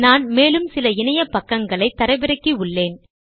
நான் மேலும் சில இணைய பக்கங்களை தரவிறக்கி உள்ளேன்